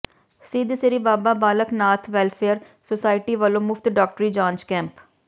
ਸਿੱਧ Shri Baba Balaknath welfare society ਵਲੋਂ ਮੁਫ਼ਤ ਡਾਕਟਰੀ ਜਾਂਚ ਕੈਂਪ